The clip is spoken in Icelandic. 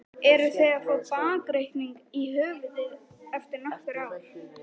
Eru þeir að fá bakreikning í höfuðið eftir nokkur ár?